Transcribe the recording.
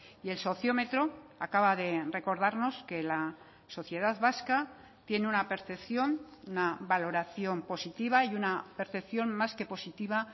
y el sociómetro acaba de recordarnos que la sociedad vasca tiene una percepción una valoración positiva y una percepción más que positiva